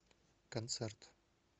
концерт